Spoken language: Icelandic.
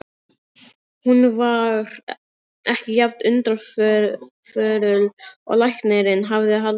Hún var ekki jafn undirförul og læknirinn hafði haldið fram.